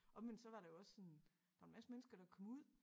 Omvendt så var det jo også en der en masse mennesker der kom ud